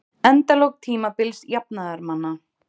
Endalok tímabils jafnaðarmanna